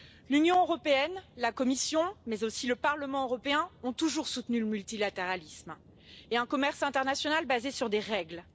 L'Union européenne, la Commission mais aussi le Parlement européen ont toujours soutenu le multilatéralisme et un commerce international basé sur des règles.